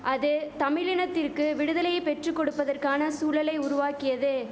அது தமிழினத்திற்கு விடுதலையை பெற்று கொடுப்பதற்கான சூழலை உருவாக்கியது